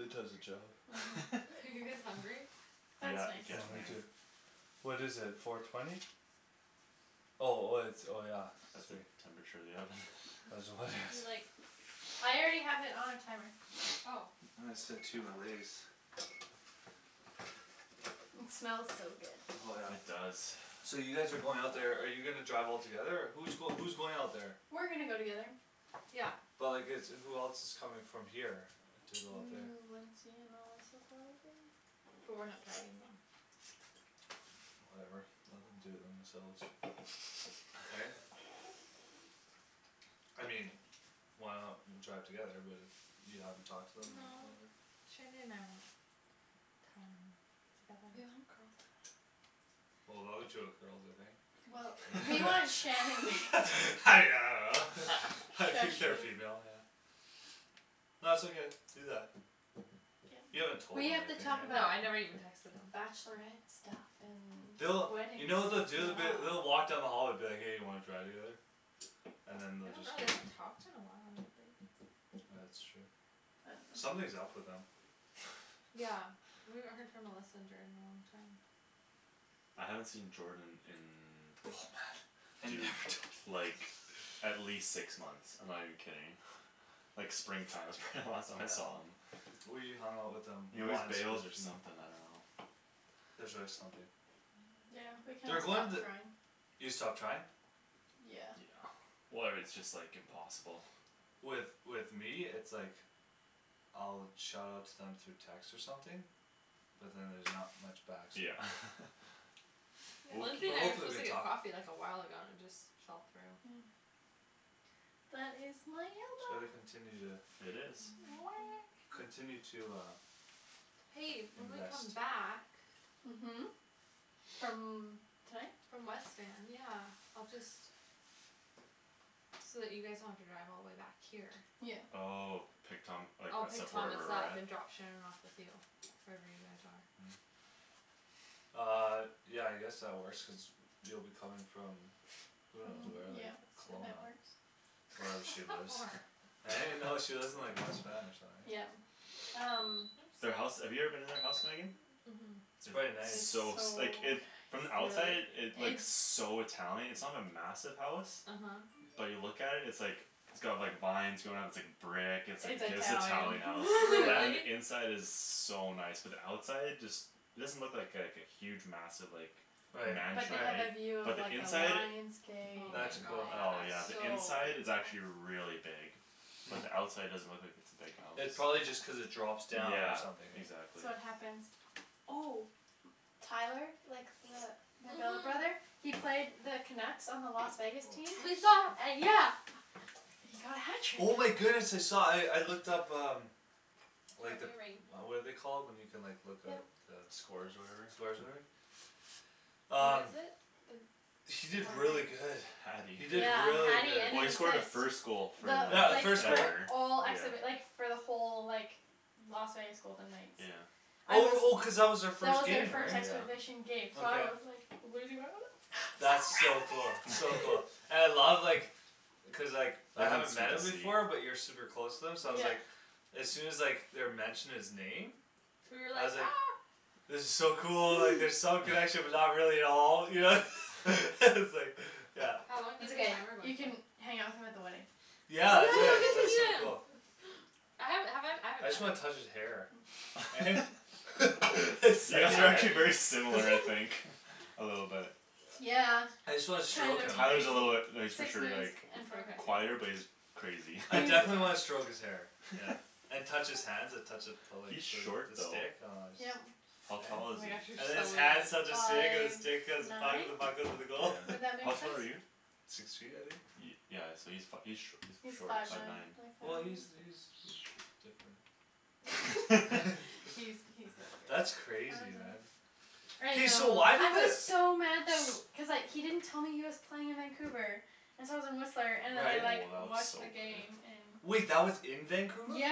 I'm does the so hungry job Mhm Are you guys hungry? That's Yeah, Oh getting me there nice too What is it, four twenty? Oh oh it's, oh yeah That's the temperature of the oven Do like I already have it on timer Ah Oh I my It smells so Oh yeah good It does So you guys are going out there, are you gonna drive all together or, who's going who's going out there We're gonna go together Yeah But like it's, who else coming from here, to go out there Mm Lindsay and Melissa, probably? But we're not driving them Whatever, let them do it themselves Right? I mean Why not w- drive together, but if you haven't talked to them or No whatever Shandy and I want time together We want girl time Well the other two are girls, aren't they Well, Eh we want Shan yeah and I don't know Shush, I think you they're female, yeah No it's okay, do that You Yeah, haven't told we them or have to anything talk No, about I never right bachelorette even texted them stuff and They'll, wedding you know what stuff they'll do, they'll be, they'll walk down the Yeah hall and be like hey you wanna drive together? And then I they'll don't just know, go they haven't talked in a while, like Ah that's true I dunno Something's up with them Yeah, we haven't heard from Melissa and Jordan in a long time I haven't seen Jordan Oh man in Have you dude, ever talked to them like like at least six months, I'm not even kidding Like spring time was probably the last time I saw him We hung out with them He always once bails or something, I dunno There's always something Yeah, we kinda They're going stopped the trying You stopped trying? Yeah Yeah Where it's just like impossible With with me it's like I'll shout out to them through text or something But then there's not much back so Yeah Lindsay But and I were hopefully supposed they to get talk coffee like a while ago and it just fell through Yeah But it's So they continue to It is Weh Continue to uh Hey, when we Invest come back Mhm From tonight? From West Van, yeah, I'll just So that you guys don't have to drive all the way back here Yeah Oh, pick Thom- like I'll us pick up Thomas wherever we're up at? and drop Shan off with you Wherever you guys are Mm Um, yeah I guess that works cuz you'll be coming from Who knows From where, like yeah, that Kelowna works Wherever she How lives far? Right no, she lives in like West Van or something right Yeah, um Their house, Oops have you ever been to their house Megan? Mhm It's quite It's It's nice so so s- like it, from the nice outside Really? it looks so Italian, it's not a massive house Uh huh But you look at it, it's like It's got like vines going up, it's like brick, it's It's like Italian Italian house, Yeah? and Really? the inside is so nice, but the outside just It doesn't look like like a huge massive like Right But mansion, they have a right right view of But the like a inside? lion's gate and Oh like my That's it's cool Oh yeah, the so inside gosh is actually big really big Mm But the outside doesn't look like it's a big house It probably just cuz it drops down or Yeah, something eh exactly So what happens? Oh Tyler, like the my billet brother, Mhm he played the Canucks on the Las Vegas team We saw An- yeah He got a Oh my hat trick goodness I saw, I I looked up um Like the, Ring what are they called when you can like look up Yep the Scores or Scores whatever? or whatever? What Um is it, the He did really good Hatty He did Yeah, really hatty good and an Well he scored the assist. first goal for Yeah, The the like like, first the goal ever, all acts yeah of it like for the whole like Las Vegas Golden Knights Yeah I Oh was oh cuz that That was was their our first first game right? Yeah exhibition game, so I Okay was like losing my mind, so That's so cool, proud so of cool, and I you love like Cuz like, I I like how haven't met him before but you're the super close to him so I was like Yeah As soon as like they were mentioning his name You were I like was ah like It was so cool, like there's some connection but not really at all, you know S- like, yeah How long It's did the ok, timer go you can for? hang out with him at the wedding Yeah Yeah, I we'll could, get to that's so meet him cool I haven't, have I, I I haven't met just wanna him touch his hair Eh? It's, You guys that's are right actually very similar, I think A little bit Yeah, I just wanna kind stroke of him Tyler's a little bit, crazy no he's for Six sure minutes like and forty five quieter, Okay but seconds he's crazy I definitely wanna stroke He's his hair, yeah And touch his hands and touch the the He's short though stick, aw it's Yep How tall Eh? Oh is my gosh, you're And then he? his so hands touch the weird stick and the Five stick touch the nine? puck and the puck Would goes to the Yeah, goal that how make tall are you? sense? Six feet I think? Yeah so he's fi- he's sh- he's He's short, five five nine, yeah Well nine he's he's he's sh- different He's he's different, how That's crazy does it look? man I I Hey so know, know why I did the was s- so mad tha- w- cuz like he didn't tell me he was playing in Vancouver and so I was in Whistler Oh and then I Right like that looks watched so the good game in Wait that was in Vancouver? Yeah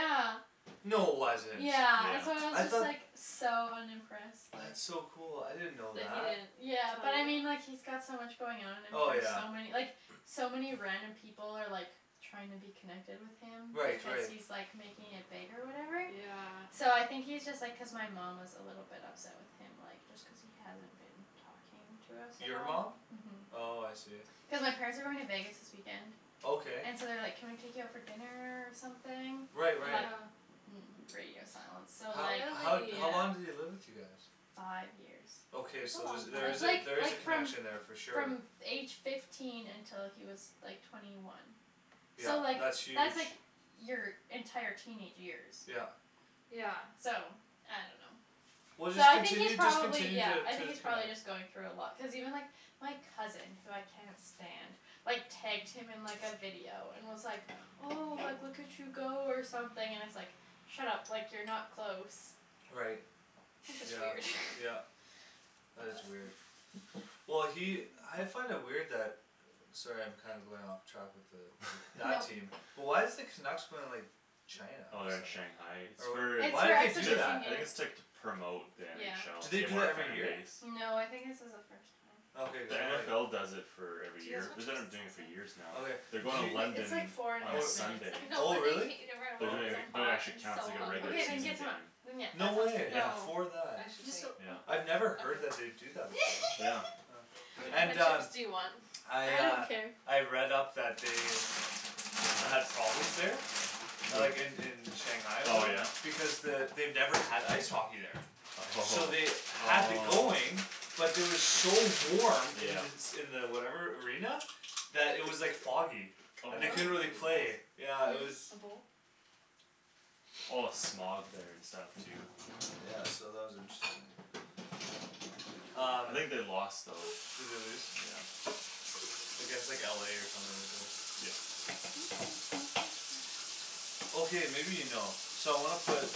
No wasn't Yeah, and so I was I Yeah just thought like, so unimpressed like That's so cool, I didn't know That that he didn't Yeah, but tell I mean you? like he's got so much going on and then Oh there's yeah so many, like so many random people are like trying to be connected with him Right because right he's like making it big or whatever Yeah So I think he's just like cuz my mom was a little bit upset with him like just cuz he hasn't been talking to us at Your all mom? Mhm Oh I see Cuz my parents are going to Vegas this weekend Okay And so they're like can we take you out for dinner or something? Right And like right Yeah mm it's radio silence so How like how how long did he Really? live with you guys? Five years Okay That's a so there's long there time That's is a, like there is like a from connection there for sure from f- age fifteen until he was like twenty one So Yeah, like, that's huge that's like your entire teenage years Yeah Yeah So I dunno Well So just I think he's continue, just probably continue yeah, t- I to think he's probably connect just going through a lot, cuz even like, my cousin, who I cannot stand, like tagged him in like a video and was like oh, like look at you go or something and it's like Shut up, like you're not close Right That's just Yeah weird yeah That is weird Well he, I find it weird that Sorry I'm kinda going off track with the, with that team, but why is the Canucks going like China Oh they're in Shanghai, it's Or whatever, for, It's why'd for they do exhibition ju- that? I think it's like to game promote the Do NFL, to they Yeah gain do more that every year? fanbase No, I think this is a first time Okay cuz The then like NFL does it for every Do you guys year, want they've been like doing it chips for and years salsa? now Okay, They're did going to you Wait, it's London like four and a on Oh, half Sunday I minutes know oh but then you really? can't eat it right They're away cuz doing it's Okay so it, but it hot, actually I'm counts so like a regular Okat, then season hungry get, then game yeah, No that sounds way, Yeah, No, great for I that Just should don't wait yeah I'd never heard that they'd do that Yeah before What kind And of uh chips do you want? I I don't uh, care I've read up that they Had problems there A Who? like in in Shanghai or Oh whatever, yeah? because the, they've never had ice hockey there So Oh, they had the going, oh but it was so warm in Yeah the s- in the whatever arena, that it was like foggy, Oh and Whoa, they can couldn't you really play, pass? yeah it was Hm? A bowl? A lot of smog there and stuff too Yeah so that was interesting Um I think they lost though Did they lose? Yeah Like it's like LA or something at least Yep Okay maybe you know, so I wanna put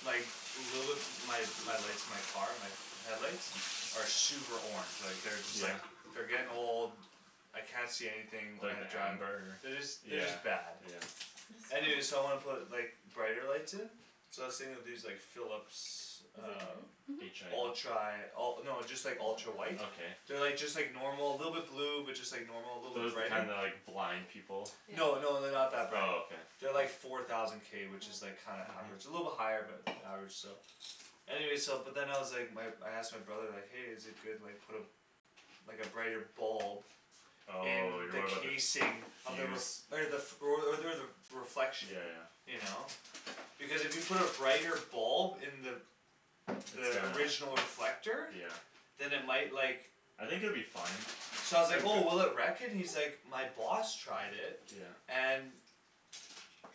Like, little bit, my lights, my car, my headlights? Are super orange, like they're just Yeah? like, they're getting old I can't see anything when Like I drive, amber? they're just they're Yeah just bad yeah Anyway so I wanna put like brighter lights in So I was thinking of these like Philips um H i Mhm Ultra, oh no just like ultra white Okay They're like just like normal, little bit blue, but just like normal, little bit Those the brighter kind that like, blind people Yeah No no they're not that bright Oh okay They're like four thousand k which is like kinda average, a little bit Mhm higher but average still Anyway so but then I was like, my I asked my brother like hey is it good like put a Like a brighter bulb In On you're the worried about the fuse casing of the r- okay the, f- or o- or the reflection Yeah yeah You know? Because if you put a brighter bulb in the It's The gonna original reflector Yeah Then it might like I think it would be fine So I was like oh will it wreck it? He's like my boss tried it, Yeah and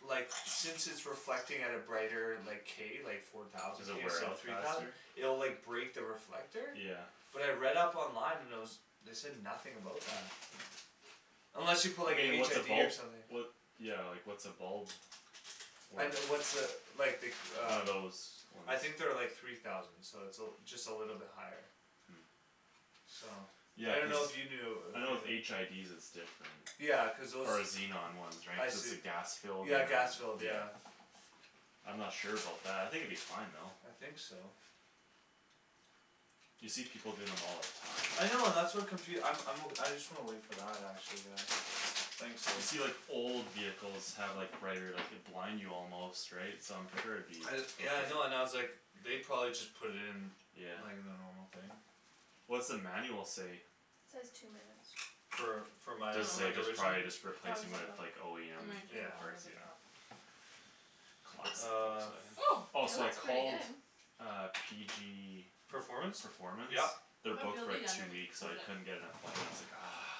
Like since it's reflecting at a brighter like, k, like four thousand Does it k wear instead of out three thousand faster? It'll like break the reflector Yeah But I read up online and there was, they said nothing about that Mm Unless you put I like a mean like HID what's a bulb or something What, yeah like what's a bulb, I worth n- what's a, like the One uh of those ones I think they're like three thousand so it's a l- just a little bit higher Mm So I Yeah cuz, dunno if you knew I know with HIDs it's different Yeah, cuz those Or xenon ones right, I cuz see the gas filled, Yeah and gas filled, yeah yeah I'm not sure about that, I think it'd be fine though I think so You see people doing them all the time I know and that's what confu- I'm I'm o- I just wanna wait for that, actually yeah Thanks though You see like old vehicles have like brighter, like could blind you almost, right, so I'm sure it'd be I d- yeah I know and I was okay like They probably just put it in, Yeah like the normal thing What's the manual say? Says two minutes For for my a- Does s- say like just original? probably just replacing it with OEM It might Yeah take longer parts, than yeah that Classic Uh Volkswagen Oh Oh Oh it so I looks pretty called good uh PG Performance? Performance? Yeah They're booked Feel for the like two underneath, weeks, cuz I it couldn't get an appointment, I was like ah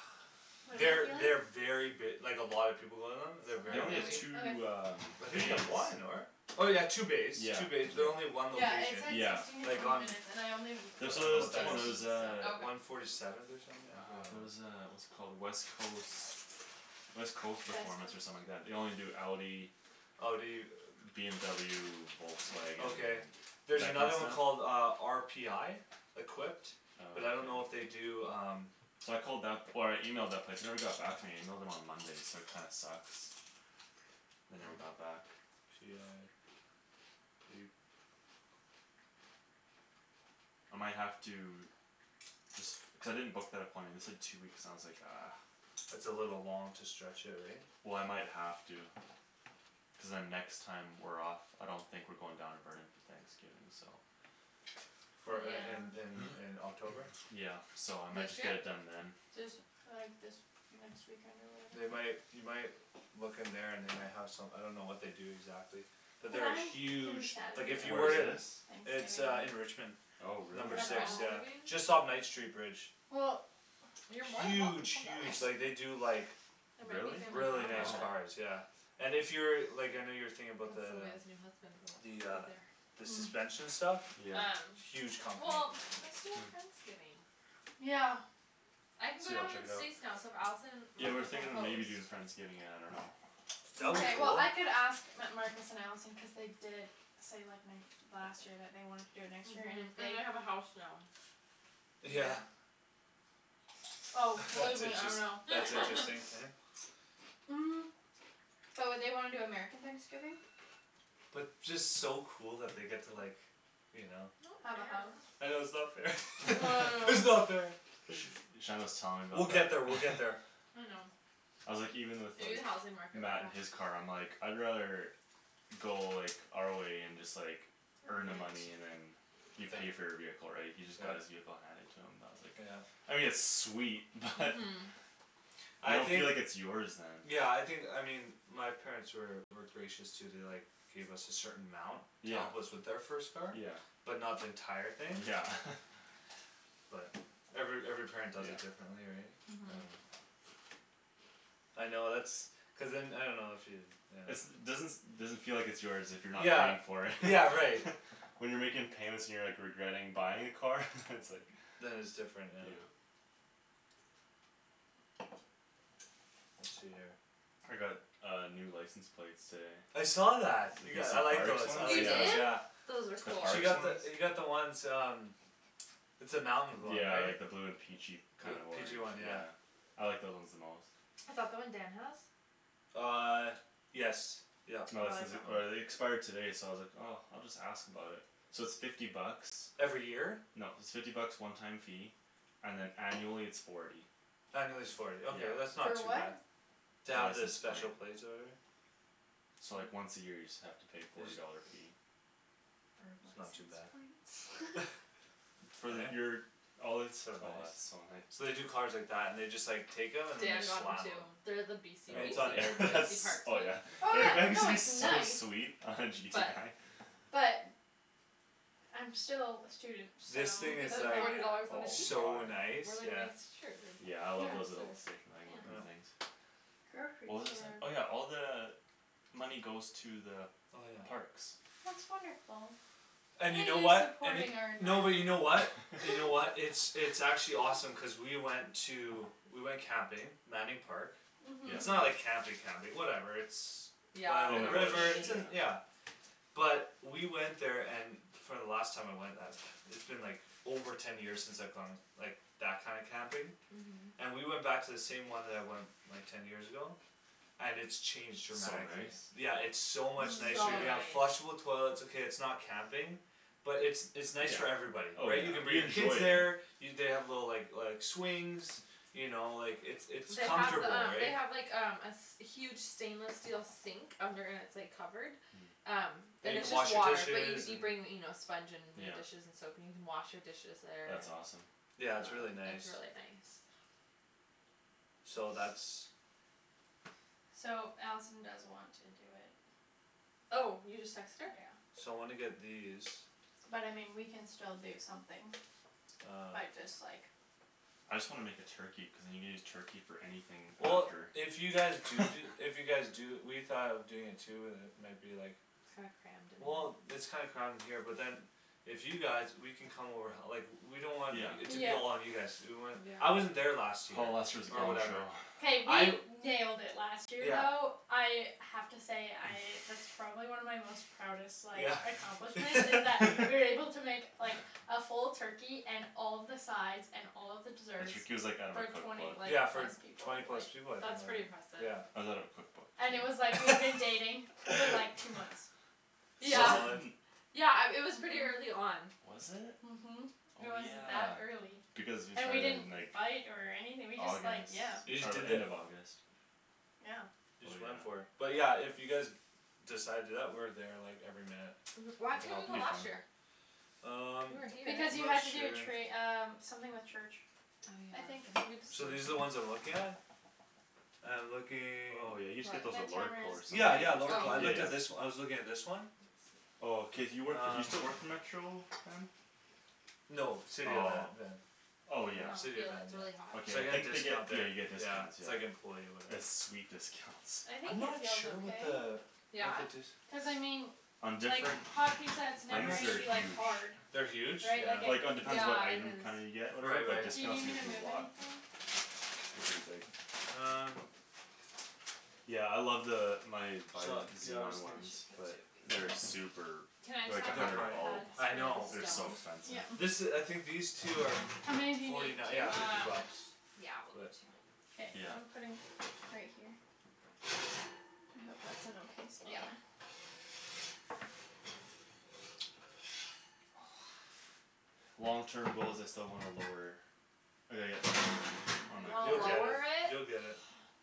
What am They're I they very feeling? b- like a lot of people go to them, they're Still They kind very of only have busy doughy two um I Okay think they bays have one, n- or? Oh yeah two bays, Yeah two bays, but they're only yeah one Yeah it location, said Yeah sixteen to like twenty on minutes and I only I There's put don't so know there's what the that one there sixteen is was so uh Oh okay One forty seventh or something, yeah Ah, there's a what's it called, West Coast West Coast Performance or something like that, they only do Audi Oh do you? BMW, Volkswagen, Okay There's that another kinda one called stuff? uh, RPI? Equipped But I don't know if they Okay do um So I called that, or I emailed that place, they never got back to me and I emailed them on Monday so that kinda sucks They never got back I might have to Cuz I didn't book that appointment, they said two weeks and I was like ah That's a little long to stretch it right? Well I might have to Cuz then next time we're off I don't think we're going down to Burnaby Thanksgiving, so For in in in Yeah in October? Yeah so I might This just get year? it done then This, like this, next weekend or They whatever might, you might Look in there and they might have some, I don't know what they do exactly But there are huge, like if you Where were is to this? It's uh in Richmond Thanksgiving Oh Have really? Number you got six, friends yeah, leaving? just off Knight street bridge Well You're more than welcome Huge to come to us huge, like they do like There might be Really? family Really drama, nice Oh but cars, yeah And if you're, like I know you were thinking about Cuz the the Sylvia's new husband will be The uh there The Mm suspension stuff? Yeah Um, Huge company well let's do a Hm friendsgiving Yeah I can go Sweet I'll down to check it the out States now so if Allison and Yeah we were Marcus wanna thinking of host maybe doing friendsgiving, I dunno That would be Mkay well cool I could ask M- Marcus and Allison cuz they did say like n- last year that they wanted to do it next year and if Mhm, they and they have a house now Yeah Yeah Oh believe That's me I interest- know that's interesting, yeah Mm But would they wanna do American Thanksgiving? But just so cool that they get to like You know Have a house I know it's not fair I it's know not fair Shandryn was telling me We'll about get that there, we'll get there I know I'm like even with Maybe the like housing market will Matt in crash his car, I'm like I'd rather Go like, our way and just like Earn earn the money it and then You pay for your vehicle right, he just got his vehicle handed to him, I was like Yeah I mean it's sweet, but You I don't think feel like it's yours then Yeah I think, I mean my parents were were gracious too, they like Gave us a certain amount to Yeah help us with our first car Yeah But not the entire thing Yeah But every every parent does Yeah it differently right Mhm I know that's Cuz then I dunno if you, you know It's doesn- doesn't feel like it's yours if you're not Yeah, paying for it yeah right When you're making payments and you're like regretting buying a car? it's like Then it's different, yeah Yeah I got a new license plate today I saw that. You got, I like Parks those, I one? You like those Yeah did? yeah Those are The cool She parks got one? the, you got the ones um It's the mountain one Yeah right? like the blue and peachy Blue kind of orange, peachy one yeah yeah I like those ones the most Is that the one Dan has? Uh yes yup No I this is like the, that one or they expired today so I was like oh, I'll just ask about it So it's fifty bucks Every year? No it's fifty bucks one time fee, and then annually it's forty Annually it's forty, ok Yeah that's not For too what? bad To The have the license special plate plates or whatever So like once a year you just have to pay forty dollar fee For That's not too bad license plates? For Eh? your, all It's it's so oh that's nice so nice So they do cars like that and just like take them and then they Dan got one slam too, them they're the I BC mean it's BC not Oh an yeah BC that's parks oh one yeah Oh yeah, no it's so nice sweet But But I'm still a student, so This You thing could is spend like forty dollars on a pizza, So Oh my nice, or like a yeah nice shirt Yeah I or Yeah love dress those or little station wagon pants Mm things What was I saying? Oh yeah, all the Money goes to the Oh yeah parks That's wonderful And you know what, and y- supporting no but you know what? our You know what, environment it's it's actually awesome cuz we went to, we went camping, Manning Park Mhm It's Yep not like camping Mhm camping, whatever it's By a Yeah, In little at the the bush, river, it's rivers in, yeah yeah But we went there and for the last time I went that, it's been like over ten years since I've gone like, that kind of camping Mhm And we went back to the same one that I went, like ten years ago? And it's changed So dramatically, nice yeah it's so much nicer So you Mm have Yeah nice flushable toilets okay it's not camping But it's it's nice Yeah, for everybody, oh right yeah, you can bring you your kids enjoy there it You they have the like like swings You know like it's it's They have the comfortable um they right have like um a s- huge stainless steel sink, under and it's like covered Um Mm That And you it's can just wash your water, but you dishes, c- you and bring you know sponge and your Yeah dishes and soap in, you can wash your dishes there That's awesome Yeah it's Uh, really nice it's really nice So that's So Allison does want to do it Oh, you just texted her? Yeah So wanna get these But I mean we can still do something, by Um just like I just wanna make a turkey, cuz then you can just use turkey for anything Well after if you guys do do, if you guys do, we thought of doing it too but then it might be like It's kinda crammed in Well here it's kinda crammed in here but then If you guys, we can come over h- like, we don't want Yeah y- Yeah it to be all on you guys to do, we want, I wasn't Yeah there last year, Oh last year was a or gong show whatever K I we nailed it last year Yeah though, I have to say I, that's probably one of my most proudest like Yeah accomplishments, is that we were able to make like A full turkey and all of the sides and all of the desserts, like out of her for twenty, cookbook like Yeah for plus people, twenty like plus people I think That's pretty like impressive yeah Was out of a cookbook And it was like we had been dating for like two months Yeah Solid Yeah um, it was pretty Mhm early on Mhm It Oh was yeah, that early, because you and we started didn't in like fight or anything we just like, August, yeah You just oh did end it of August Yeah Oh yeah but yeah, if you guys Decide to do that, we're there like every minute Mhm why We can couldn't help you It go you be last fun year? Um, We were here Because you had not to do sure tra- um, something with church I I think uh, So these are I'm the ones I'm looking at? I'm looking Oh yeah you just get those at What Lordco or Yeah, yeah, something Lordco- Oh I looked at this, I was looking at this one Oh cuz you work for, you still work Uh for Metro Van? No, City of Van, Oh yeah Oh I yeah dunno, City of feel Van, it, it's really hot yeah Okay So I I get a think they get, discount yeah there, you get yeah, discounts, it's yeah like employee or whatever it's sweet discounts I I'm think it not feels sure what okay the, what Yeah? the d- Cuz I mean On like, different hot pizza it's I'm never things not s- gonna they're be like huge hard They're huge? Right, Yeah like Like it depends what Yeah, it it item is kinda you get or whatever, Right but right Do you need discount's me to usually move a lot anything? They're pretty big Um Yeah I love the, my my Su- Yeah I was xenon think- We ones should put two but of these they're in super, Can I they're just like have a the They're hundred a hot prolly, bulb pads I for know They're the so stove? expensive This Yeah i- I think these two are, How many do f- you need, forty nine, two? yeah fifty Um, bucks yeah we'll do But two K, Yeah I'm putting, right here I hope that's an okay Yeah spot Long terms goals I still want a lower I gotta get it lowered, on You my wanna You'll car get it, lower it? you'll get it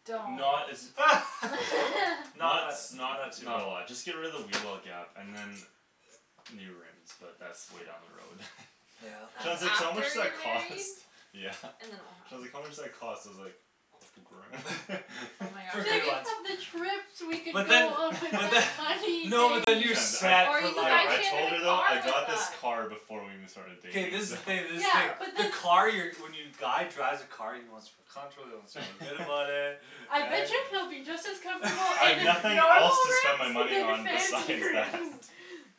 Don't Not as Not Not tha- s- not not, too not a lot, just get rid of the wheel well gap and then New rims, but that's way down the road Yeah Shan's That's like so how much after that you're married cost? Yeah And then it'll Shan's like happen how much does that cost, I was like Oh my For good Think gosh ones of the trips we could But go then on with but then that no but money, then you're babe Shan, I, set Or for you could life no buy I right told her Shandryn a though, car I with got this that car before we even started K dating this is the thing this is the Yeah thing but the the car you're, when you guy drives a car he wants to feel comfortable, he wants to feel good about it, I bet right you he'll be just as comfortable in I've a- nothing else normal to spend my money rims than on fancy besides that rims